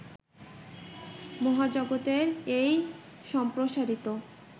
মহাজগতের এই সম্প্রসারিত